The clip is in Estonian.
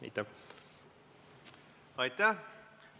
Atäh!